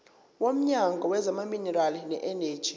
womnyango wezamaminerali neeneji